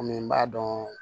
Komi n b'a dɔn